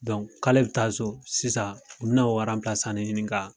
k'ale bɛ taa so sisan u bɛ na o ɲinin ka